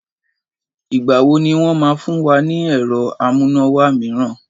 Ìgbà wo ni wọn máa fún wa ni ẹ̀rọ amúnáwá mìíràn?